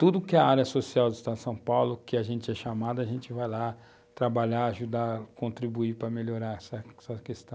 Tudo que é área social do Estado de São Paulo, que a gente é chamado, a gente vai lá trabalhar, ajudar, contribuir para melhorar essa questão.